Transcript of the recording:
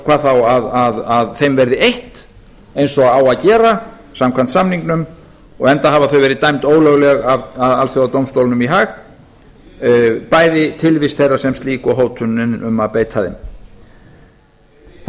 hvað þá að þeim verði eytt eins og á að gera samkvæmt samningnum enda hafa þau verið dæmd ólögleg af alþjóðadómstólnum í haag bæði tilvist þeirra sem slík og hótunin um að beita þeim þannig að